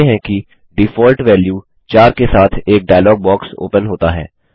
हम देखते हैं कि डिफॉल्ट वेल्यू 4 के साथ एक डायलॉग बॉक्स ओपन होता है